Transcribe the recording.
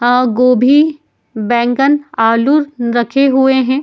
अ गोभी बैगन आलू रखे हुए हैं।